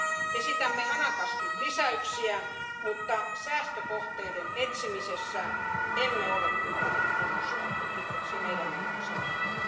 Esitämme hanakasti lisäyksiä, mutta säästökohteiden etsimisessä emme ole kyllä kunnostautuneet, se meidän on sanottava.